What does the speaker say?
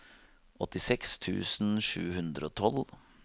åttiseks tusen sju hundre og tolv